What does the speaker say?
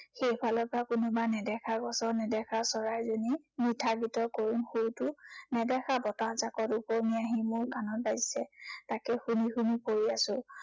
সেই ফালৰ পৰা কোনোবা নেদেখা গছৰ নেদেখা চৰাইজনীৰ মিঠা গীতৰ কৰুণ সুৰটো নেদেখা বতাহজাঁকত উপঙি আহি মোৰ কাণত বাজিছে। তাকে শুনি শুনি পৰি আছো।